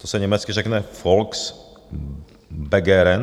To se německy řekne Volksbegehren.